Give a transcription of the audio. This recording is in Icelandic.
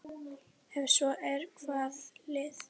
Ef svo er, hvaða lið?